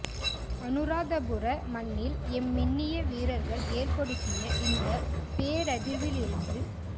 அநுராதபுர மண்ணில் எம்மினிய வீரர்கள் ஏற்படுத்திய இந்தப் பேரதிர்விலிருந்து